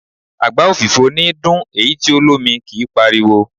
Àgbá òfìfo níí dún, èyí tí o lómi kí páriwo.